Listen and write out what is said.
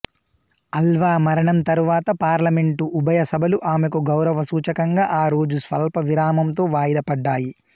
అల్వా మరణం తరువాత పార్లమెంటు ఉభయ సభలు ఆమెకు గౌరవ సూచకంగా ఆ రోజు స్వల్ప విరామంతో వాయిదా పడ్డాయి